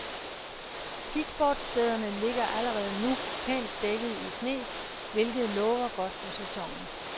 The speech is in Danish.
Skisportsstederne ligger allerede nu pænt dækket i sne, hvilket lover godt for sæsonen.